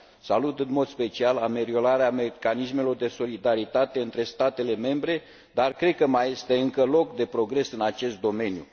Salut în mod special ameliorarea mecanismelor de solidaritate între statele membre, dar cred că mai este încă loc de progres în acest domeniu.